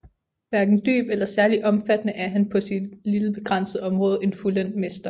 Hverken dyb eller særlig omfattende er han på sit lille begrænsede område en fuldendt mester